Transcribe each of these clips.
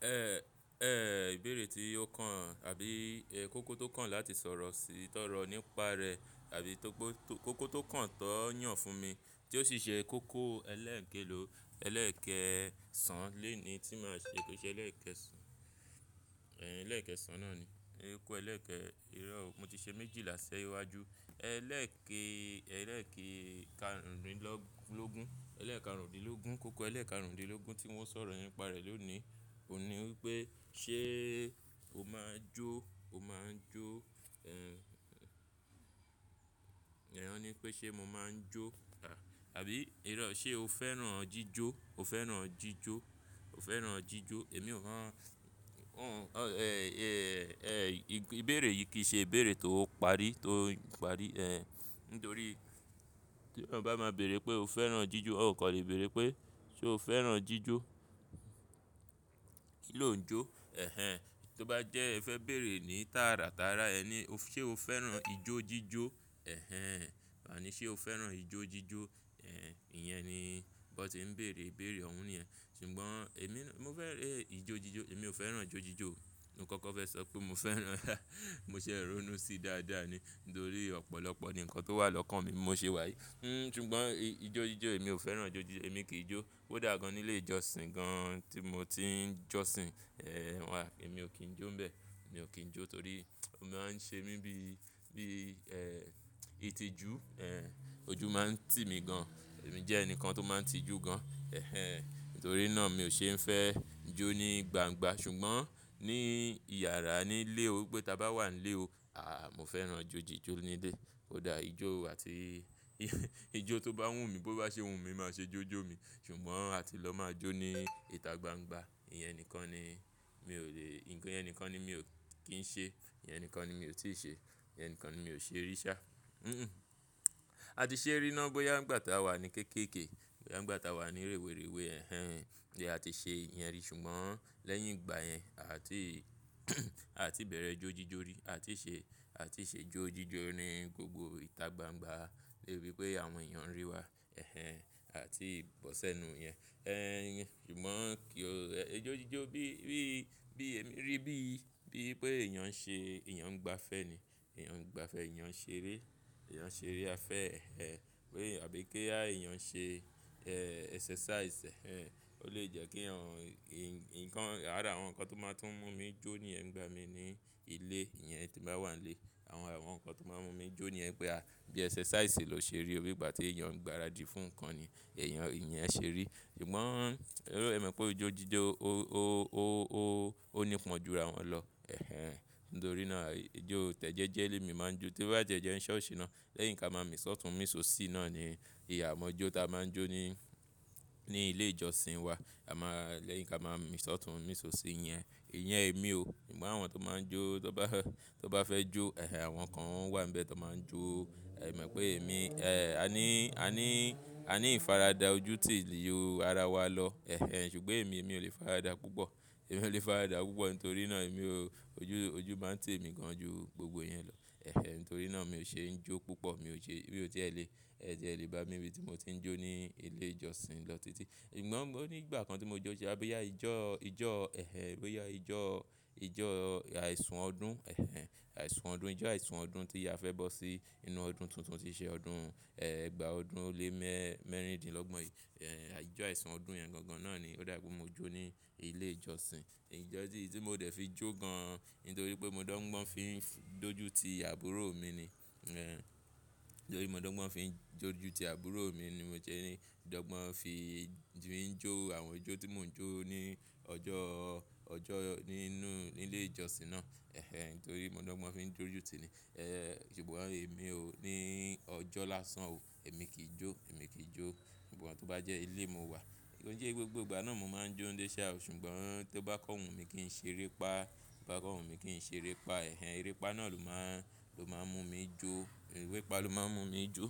Ẹ, ẹ ìbéèrè tí ó kàn àbí ẹ kóko tó kàn láti sọ̀rọ̀ sí ìtọ́rọ̀ nípa rẹ̀ àbí tó po to, kóko tó kàn tó yàn fún mi tí ó sì ṣe kóko ẹlẹ́ẹ̀kẹ́lò ẹlẹ́ẹ̀kẹ́ sán. Lé è ní tí màá ṣe kó ṣe ẹlẹ́ẹ̀kẹ́ sán, e ẹlẹ́ẹ̀kẹ́ sán náà ni. Kóko ẹlẹ́ẹ̀kẹ́ irọ́ o mo ti ṣe méjì lásẹ̀ iwájú. Ẹlẹ́ẹ̀kẹ́, ẹlẹ́ẹ̀kẹ́ karùndínló- logún, ẹlẹ́ẹ̀kẹ́ kàrúnìdlógún, kóko ẹlẹ́ẹ̀kẹ́ kàrúnìdlógún tí wọ́n sọ̀rọ̀ nípa rẹ̀ lónìí. Òun ni wipé ṣe o máa jó? O máa jó? Ehn. Òní pé ṣe mo máa n jó? Àbí irọ́ ṣe o fẹ́ràn jíjó? O fẹ́ràn jíjó? O fẹ́ràn jíjó? Èmi ò mọ̀. Won Ehn, ẹ ìbéèrè yìí kì í ṣe ìbéèrè tó parí, tó parí. Ehn. Nítorí tí eeyan bá máa béèrè pé o fẹ́ràn jíjó, ó kò le béèrè pé ṣe o fẹ́ràn jíjó. Kí ló ń jó? Ẹ̀hẹn. Tó bá jẹ ẹ fẹ́ béèrè ní tààrà tààrà, ẹ ní o f- ṣe o fẹ́ràn ijó jíjó? Ẹ̀hẹn. Wá ni ṣe o fẹ́ràn ijó jíjó? Ẹ̀hẹn. Iyẹn ni bọ n ti ń béèrè ìbéèrè ọ̀ ún niyẹn. Ṣùgbọ́n èmi naa, mo fẹ́ràn e ijó jíjó. Èmi ò fẹ́ràn ijó jíjó o. Mo kọ́kọ́ fẹ́ sọ pé mo fẹ́ràn. Mo ṣẹ̀ rónú sí dáadáa ni. Ntorí ọ̀pọ̀lọpọ̀ ni nǹkan tó wà lọ́kàn mi mo ṣe wà yìí. Hmm. Ṣùgbọ́n i ijó jíjó èmi ò fẹ́ràn ijó jíjó. Èmi kì í jó. Ko dàgan nílé ìjọsìn gan tí mo ti ń jọ́sìn. Ehn. Wà, èmi ò kín jó ńbẹ. Èmi ò kín jó torí ó máa ń ṣe mí bí, bí ẹ ìtìjú. Ehn. Ojú máa ń tì mí gan. Èmi jẹ́ ẹnìkan tó máa ń tijú gan. Ẹ̀hẹn. Nítorí náà mi ò ṣe ń fẹ́ jó ní gbangba. Ṣùgbọ́n ní iyàrá nílé ó pé ta bá wà n lé o, a mo fẹ́ràn ijó jíjó nílé. Ko dà ijó àti ijó tó bá wù mí, bó bá ṣe wù mí máa ṣe jó jó mi. Ṣùgbọ́n àti lọ máa jó ní ìta gbangba. Iyẹn nìkan ni mi ò lè, iyẹn nìkan ni mi ò kín ṣe. Iyẹn nìkan ni mi ò tí ì ṣe. Iyẹn nìkan ni mi ò ṣe rí ṣá. Hmm hmm. A ti ṣe rí i náà bóyá ìgbà tí a wà ní kéékèèkee. Bóyá n gbà ta wà ní rèwerèwe. Ẹ̀hẹn. Bí a ti ṣe iyẹn rí. Ṣùgbọ́n lẹ́yìn ìgbà yẹn a ti a ti bẹ̀rẹ̀ jó jíjó rí. A ti ṣe, a ti ṣe jó jíjó ní gbogbo ìta gbangba. Lébi pé àwọn èèyàn ń rí wa. Ẹ̀hẹn. A ti bọ́sẹ́nu iyẹn. Ehn. Ṣùgbọ́n kí ó, e ijó jíjó bí, bí, bí èmi rí bí, bí pé èèyàn ṣe, èèyàn ń gba afẹ́ ni. Èèyàn ń gba afẹ́, èèyàn ṣe eré. Èèyàn ṣe eré afẹ́. Ehn. Pe àbí kí ya èèyàn ṣe ẹ́ ẹsẹ́sáìsì. Ehn. Ó lè jẹ́ kí eeyan, n nǹkan ára àwọn nǹkan tó máa tún mú mi jó niyẹń n gba mi ní ilé. Iyẹn tí n bá wà n lé. Àwọn, àwọn nǹkan tó máa ń mú mi jó niyẹn n pé a bí ẹsẹ́sáìsì lọ ṣe rí. Bí ìgbà tí èèyàn ń gbaradì fún nǹkan ni. Ẹ̀èyàn, iyẹn ṣe rí. Ṣùgbọ́n ẹ mọ̀ pé ijó jíjó ó, ó, ó, ó, ó nípọn júra wọn lọ. Ẹ̀hẹn. Ntorí náà ijó tẹ̀ jejẹ lé mi máa ń jó. Tó bá tie jẹ́ ń ṣọ́ọ̀ṣì náà, lẹ́yìn ka máa mì sọ́tùn mì sọ osí náà ni ìyà mọ́jo tí a máa ń jó ní, ní ilé ìjọsìn wa. A máa, lẹ́yìn ka máa mì sọ́tùn mì sọ osí iyẹn. Iyẹn èmi o. Ṣùgbọ́n àwọn tó máa ń jó tó bá fẹ́, tó bá fẹ́ jó. Ẹ̀hẹn. Àwọn kan n wà ń bẹ tó máa ń jó. Mi mọ̀ i pé èmi, ẹ àní, àní, àní ìfaradà ojú ti lè yọ ara wa lọ. Ẹ̀hẹn. Ṣùgbọ́n èmi, èmi ò lè faradà púpọ̀. Èmi ò lè faradà púpọ̀ ntorí náà èmi ò, ojú, ojú máa ń tì emí gan ju gbogbo iyẹn lọ. Ẹ̀hẹn. Nítorí náà mi ò ṣe ń jó púpọ̀. Mi ò ṣe, mí ó ti ẹ lè, ẹ tiẹ́ lè bá mi n bi tí mo ti ń jó ní ilé ìjọsìn lọ títí. Ṣùgbọ́n mó ní ìgbà kan tí mo jó ṣe boyà ijọ́, ijọ́. Ẹ̀hẹn. Abéyà ijọ́, ijọ́ àìsùn ọdún. Ẹ̀hẹn. Àìsùn ọdún, ijọ́ àìsùn ọdún tí a fẹ́ bọ́ sí inú ọdún tuntun tí ṣe ọdún, ẹ́ egba ọdún ó lé mẹ́ mẹ́rìndínlógbon yii. Ehn. Ijọ́ àìsùn ọdún yẹn gangan náà ni ó dà wipé mo jó ní ilé ìjọsìn. Ìjọ́ tí, tí mo dẹ̀ fi jó gan. Nítorí pé mo dọ́ńgbon fi ń f-doju ti àbúrò mi ni. Ehn. Nítorí mo dọ́ńgbon fi ń doju ti àbúrò mi ni mo sẹ́ ni. Dọ́gbon fi, fi ń jó àwọn ijó tí mò ń jó ní ọjọ́, ọjọ́ nínú nílé ìjọsìn náà. Ẹ̀hẹn. Ntorí mo dọ́ńgbon fi ń doju tí ni. Ehn. Ṣùgbọ́n èmi ò ní ọjọ́ lásán o. Èmi kì í jó. Èmi kì í jó. Ṣùgbọ́n tó bá jẹ́ ilé mo wà, kó n sẹ́ gbogbo ìgbà náà mo máa ń jó nlé ṣá o. Ṣùgbọ́n tó bá kọ́ wù mí kí n ṣe erépá, tó bá kọ́ wù mí kí n ṣe erépá. Ẹ̀hẹn. Erépá náà ló máa, ló máa ń mú mi jó. Erépá ló máa ń mú mi jó.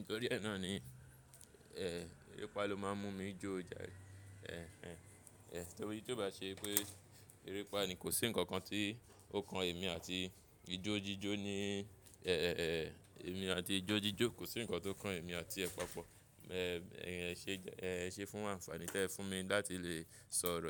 Ntorí ẹ náà ni, ẹ́ erépá ló máa ń mú mi jó o jàre. Ẹ̀hẹn. Ehn. Torí tó bá ṣe pé erépá ni kò sí ǹnkan kan tí ó kan èmi àti ijó jíjó ní, ẹ, ẹ, ẹ, èmi àti ijó jíjó kò sí ǹnkan tó kan èmi àti ẹ pa pọ̀. Ehn. Ṣé jẹ́, ẹ ṣe fún àǹfààní tẹ fún mi láti lè sọ̀rọ̀?